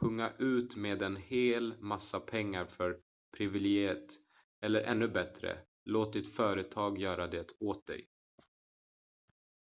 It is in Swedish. punga ut med en hel massa pengar för privilegiet eller ännu bättre låt ditt företag göra det åt dig